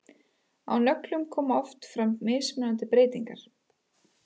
Á nöglum koma oft fram mismunandi breytingar.